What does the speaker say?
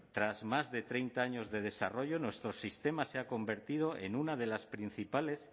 tras más de treinta años de desarrollo nuestro sistema se ha convertido en una de las principales